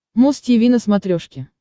муз тиви на смотрешке